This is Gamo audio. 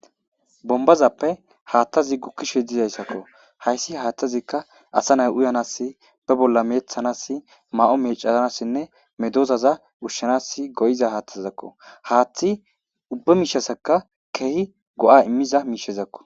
bombazappe haattazi gukkishe dizayssakko hayssi haattazikka asa nay uyanas be bolla meeththanas ma7o mecanassinne medozaza wushshanas goyiza haathtazakko haaththi ubba miishasaka keehi go7a immiza miishezakko